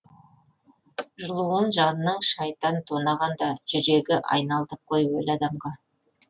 жылуын жанның шайтан тонағанда жүрегі айналдық қой өлі адамға